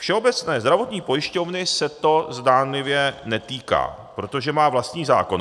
Všeobecné zdravotní pojišťovny se to zdánlivě netýká, protože má vlastní zákon.